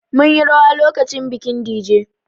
Mun yi rawa lokacin bikin Dije